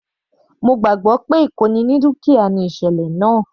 Mo gbàgbọ́ pé ìkóni ní dúkìá ni ìsẹ̀lẹ̀ náà.